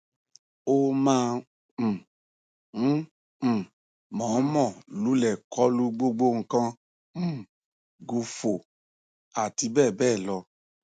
ó máa um ń um mọọnmọ lulẹ kọlu gbogbo nǹkan um gù fò àti bẹẹ bẹẹ lọ